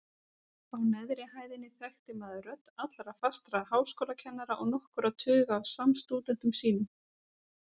Á neðri hæðinni þekkti maður rödd allra fastra háskólakennara og nokkurra tuga af samstúdentum sínum.